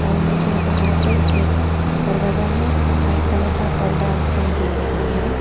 और मुझे बाहर पे एक दरवाजा में वाइट कलर का पर्दा दिखाई दे रही है।